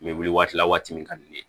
N bɛ wili waati la waati min ka di ne ye